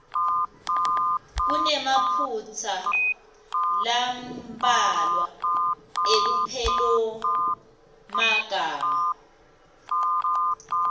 kunemaphutsa lambalwa elupelomagama